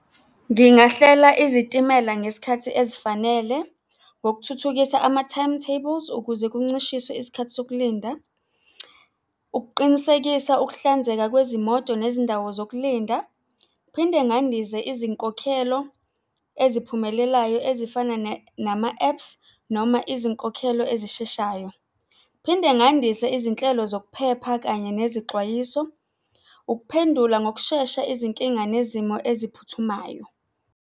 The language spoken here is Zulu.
Ngingahlela izitimela ngesikhathi ezifanele, ngokuthuthukisa ama-timetables ukuze kuncishiswe isikhathi sokulinda. Ukuqinisekisa ukuhlanzeka kwezimoto nezindawo zokulinda. Phinde ngandise izinkokhelo eziphumelelayo ezifana nama-apps noma izinkokhelo ezisheshayo. Phinde ngandise izinhlelo zokuphepha kanye nezixwayiso. Ukuphendula ngokushesha izinkinga nezimo eziphuthumayo.